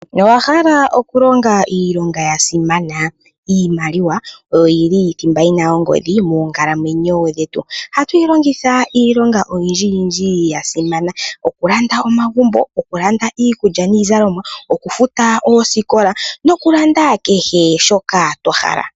Ngele owa hala okulonga iilonga yasimana, iimaliwa oyo yili dhimba yina ongodhi monkalamwenyo dhetu. Ohatu yi longitha iilonga oyindji yindji yasimana, okulanda omagumbo, oku landa iikulya niizalomwa, oku futa oosikola nokulanda kehe shoka twa hala.